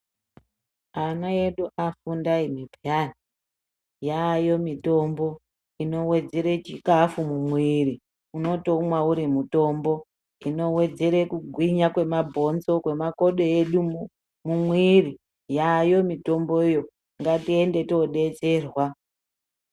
Ana edu afunda imwi peyani yaayo mitombo inowedzere chikafu mumwiri unotoumwe uri mutombo unowedzera kugwinya kwemabhonzo kwemakodo edu mumwiri yaayo mitomboyo ngatiende todetserwa.